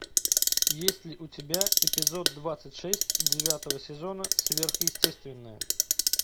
есть ли у тебя эпизод двадцать шесть девятого сезона сверхъестественное